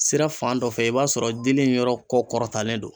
Sira fan dɔ fɛ i b'a sɔrɔ dili in yɔrɔ kɔ kɔrɔtanlen don